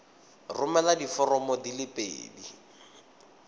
romela diforomo di le pedi